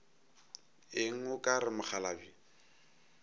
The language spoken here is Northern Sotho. eng o ka re mokgalabje